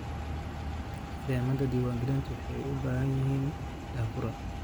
Nidaamyada diiwaangelintu waxay u baahan yihiin daahfurnaan.